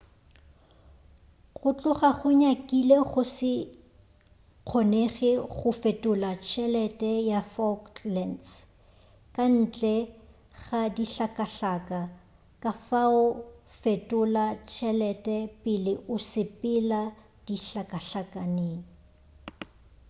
go tloga go nyakile go se kgonege go fetola tšhelete ya falklands ka ntle ga dihlakahlaka kafao fetola tšhelete pele o sepela dihlakahlakeng